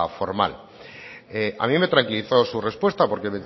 formal a mí me tranquilizó su respuesta porque